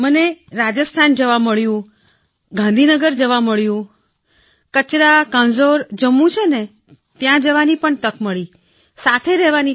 મને રાજસ્થાનમાં મળ્યું ગાંધીનગરમાં મળ્યું કચરા કાંઝોર જમ્મુ છે ત્યાં તક મળી સાથે રહેવાની